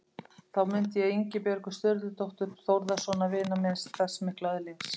Þá mundi ég Ingibjörgu Sturludóttur, Þórðarsonar vinar míns, þess mikla öðlings.